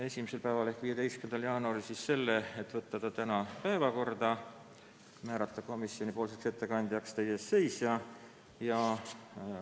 Esimesel päeval ehk 15. jaanuaril otsustasime teha ettepaneku võtta eelnõu tänasesse päevakorda ja määrata komisjoni ettekandjaks teie ees seisja.